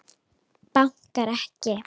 Bankar ekki.